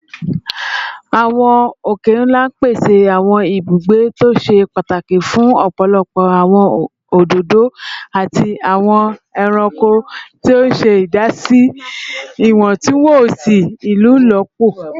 Awọn oke-nla pese awọn ibugbe to ṣe pataki fun ọpọlọpọ awọn ododo ati awọn ẹranko, ti o ṣe idasi si iwọntunwọnsi ilolupo